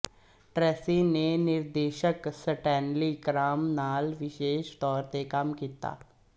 Tracy ਨੇ ਨਿਰਦੇਸ਼ਕ Stanley Kramer ਨਾਲ ਵਿਸ਼ੇਸ਼ ਤੌਰ ਤੇ ਕੰਮ ਕੀਤਾ